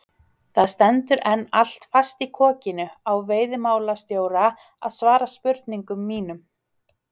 Það stendur enn allt fast í kokinu á veiðimálastjóra að svara spurningum mínum.